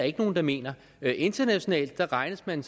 ikke nogen der mener internationalt regnes man